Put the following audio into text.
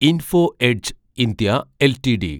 info edge (India) LTD